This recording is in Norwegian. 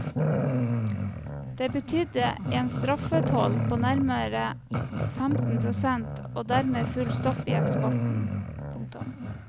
Det betydde en straffetoll på nærmere femten prosent og dermed full stopp i eksporten. punktum